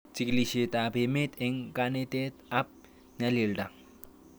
Chig'ilishet ab emet eng' kanetet ab nyalilda